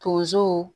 Tonso